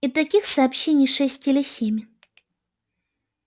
и таких сообщений шесть или семь